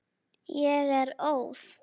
Ég er óð.